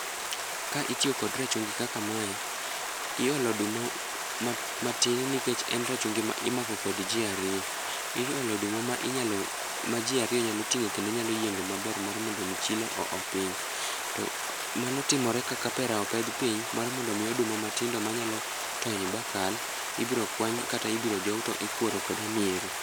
Ka itiyo kod rachungi kaka mae, iolo oduma matin nikech en rachungi ma imako kod ji ariyo. Iolo oduma ma ji ariyo nyalo ting'o kendo nyalo yiengo maber mar mondo omi chilo oo piny. To mano timore ka kapera opedh piny mar mondo oduma matindo manyalo tony bakal ,ibro kwany kata ibiro jow to ikuoro kod hamiero.